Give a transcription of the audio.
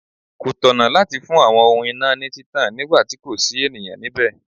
Kò tọ̀nà láti fi àwọn ohun iná ní títàn nígbà tí kò sí ènìyàn nibẹ.